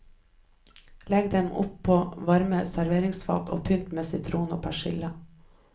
Legg dem opp på varmt serveringsfat og pynt med sitron og persille.